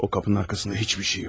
O kapının arxasında heç bir şey yox.